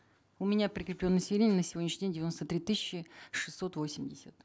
у меня прикреплено населения на сегодняшний день девяносто три тысячи шестьсот восемьдесят